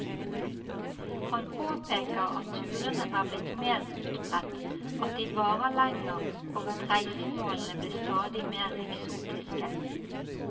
Han påpeker at turene er blitt mer utbredt, at de varer lenger og at reisemålene blir stadig mer eksotiske.